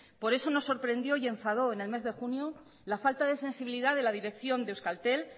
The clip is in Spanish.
por eso nos sorprendió y enfadó en el mes de junio la falta de sensibilidad de la dirección de euskaltel